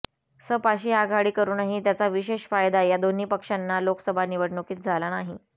सपाशी आघाडी करूनही त्याचा विशेष फायदा या दोन्ही पक्षांना लोकसभा निवडणुकीत झाला नाही